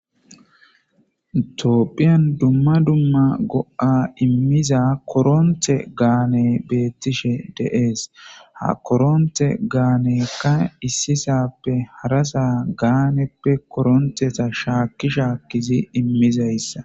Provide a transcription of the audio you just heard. Tophiyan duma duma go'a imiza koronte haane beetishe de'es ha koronte gaaneka isisape harasa gaanepe koronteta shaaki shaaki imizaysa.